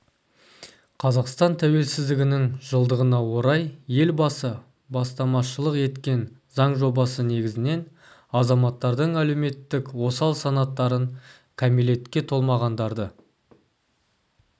қазақстан тәуелсіздігінің жылдығына орай елбасы бастамашылық еткен заң жобасы негізінен азаматтардың әлеуметтік осал санаттарын кәмелетке толмағандарды